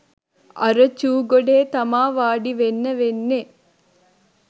අර චූ ගොඩේ තමා වාඩිවෙන්න වෙන්නේ